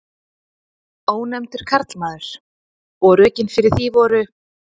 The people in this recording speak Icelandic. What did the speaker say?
Ónefndur karlmaður: Og rökin fyrir því voru?